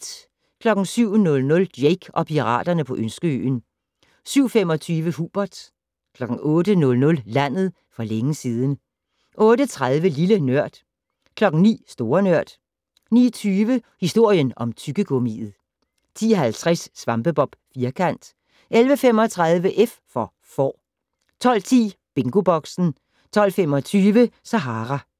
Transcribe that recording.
07:00: Jake og piraterne på Ønskeøen 07:25: Hubert 08:00: Landet for længe siden 08:30: Lille Nørd 09:00: Store Nørd 09:20: Historien om tyggegummiet 10:50: SvampeBob Firkant 11:35: F for Får 12:10: BingoBoxen 12:25: Sahara